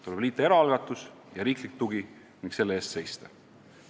Tuleb liita eraalgatus ja riiklik tugi ning selle eest seista.